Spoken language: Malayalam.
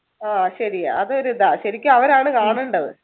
ആഹ് ശെരിയാ അതൊരു ഇതാ ശെരിക്കും അവരാണ് കാണേണ്ടത്.